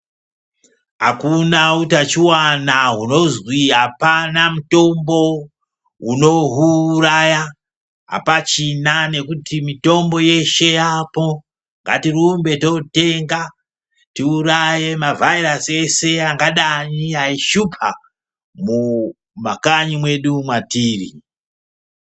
Akuna utachiwana hunozwi apana mutombo unohuuraya apachina nekuti mitombo yeshe yapo, ngatirumbe totenga tiuraye mavhairasi eshe angadai eishupa mumakanyi mwetiri.